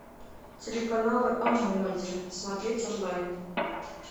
телеканалы о моде смотреть онлайн